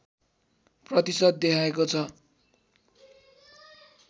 प्रतिशत देखाएको छ